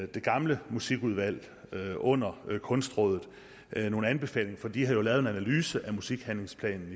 det gamle musikudvalg under kunstrådet nogle anbefalinger for de havde jo lavet en analyse af musikhandlingsplanen